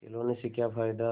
खिलौने से क्या फ़ायदा